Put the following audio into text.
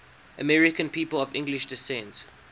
american people of english descent